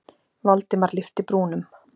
Valdimar lyfti brúnum.